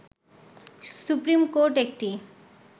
supreme court একটি